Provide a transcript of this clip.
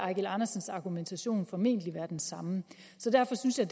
eigil andersens argumentation formentlig være den samme derfor synes jeg